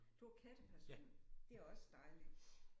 Du er katteperson? Det er også dejligt